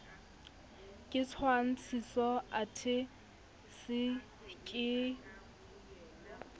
ke tshwantshiso athe c ke